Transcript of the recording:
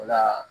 O la